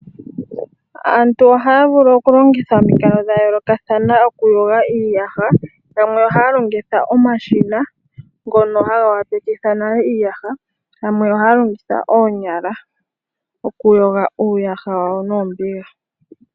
Aantu ohaya vulu okulongitha omikalo dhayoolokathana okuyoga iiyaha. Yamwe ohaya longitha omashina ngono haga opaleke nago iiyaha , yamwe ohaya longitha oonyala okuyoga uuyaha wawo noombiga.